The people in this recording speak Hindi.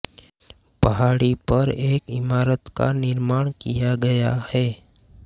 पहाड़ी पर एक इमारत का निर्माण किया गया है